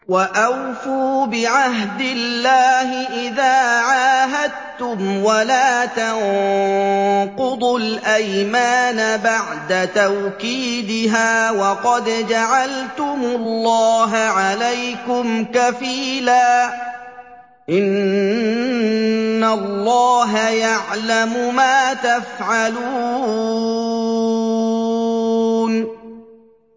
وَأَوْفُوا بِعَهْدِ اللَّهِ إِذَا عَاهَدتُّمْ وَلَا تَنقُضُوا الْأَيْمَانَ بَعْدَ تَوْكِيدِهَا وَقَدْ جَعَلْتُمُ اللَّهَ عَلَيْكُمْ كَفِيلًا ۚ إِنَّ اللَّهَ يَعْلَمُ مَا تَفْعَلُونَ